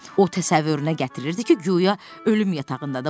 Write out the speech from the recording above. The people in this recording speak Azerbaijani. O təsəvvürünə gətirirdi ki, guya ölüm yatağındadır.